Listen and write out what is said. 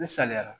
Misaliyara